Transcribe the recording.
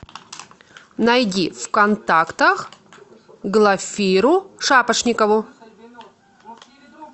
найди в контактах глафиру шапошникову